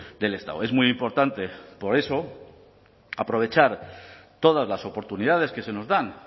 del estado es muy importante por eso aprovechar todas las oportunidades que se nos dan